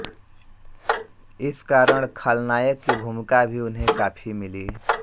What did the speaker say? इस कारण खलनायक की भूमिका भी उन्हें काफ़ी मिली